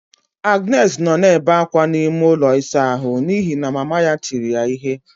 Agnes nọ na-ebe akwa n'ime ụlọ ịsa ahụ n'ihi na mama ya tiri ya ihe.